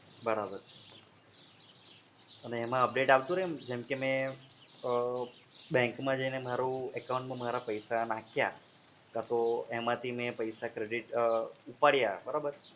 અને એમા update આવતું રહે? જેમ કે મે અમ bank માં જઈને મારુ account માં મે પૈસા નાખ્યા credit કાં તો મે પૈસા ઉપાડ્યા બરોબર?